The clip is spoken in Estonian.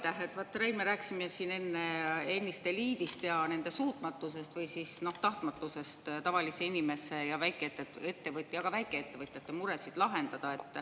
Vat,, me rääkisime siin ennist eliidist ja nende suutmatusest või siis tahtmatusest tavalise inimese ja väikeettevõtja ja ka väikeettevõtjate muresid lahendada.